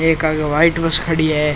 एक आगे white bus खड़ी है।